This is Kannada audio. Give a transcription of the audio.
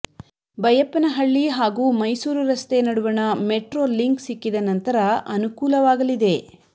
ಬೈಯಪ್ಪನ ಹಳ್ಳಿ ಹಾಗೂ ಮೈಸೂರು ರಸ್ತೆ ನಡುವಣ ಮೆಟ್ರೋ ಲಿಂಕ್ ಸಿಕ್ಕಿದ ನಂತರ ಅನುಕೂಲವಾಗಲಿದೆ